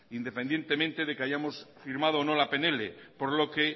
independientemente de que hayamos firmado o no la pnl por lo que